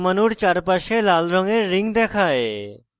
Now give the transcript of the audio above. carbon পরমাণুর চারপাশে লাল রঙের rings দেখায়